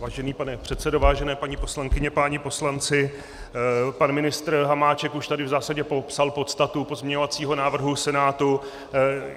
Vážený pane předsedo, vážené paní poslankyně, páni poslanci, pan ministr Hamáček už tady v zásadě popsal podstatu pozměňovacího návrhu Senátu.